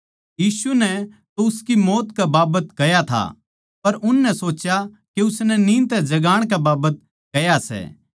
यीशु नै तो उसकी मौत कै बाबत कह्या था पर उननै सोच्या के उसनै नींद तै सोण कै बाबत कह्या सै